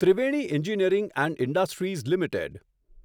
Triveni engineering and industries limited